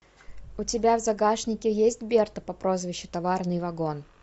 у тебя в загашнике есть берта по прозвищу товарный вагон